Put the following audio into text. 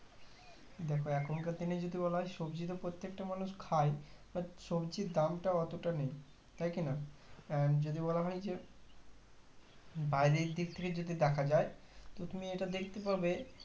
দেখো এখন কার দিনে যদি বলা হয় সবজি তা প্রত্যেকটা মানুষ খাই but সবজির দামটা অতটা নেই তাই কি না and যদি বলা হয় যে বাইরের দিক থাকে যদি দেখা যাই তো তুমি এটা পাবে